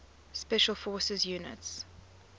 special forces units